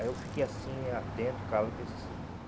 Aí eu fiquei assim, atento, calado, pensei assim.